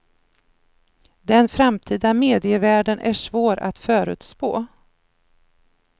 Den framtida medievärlden är svår att förutspå.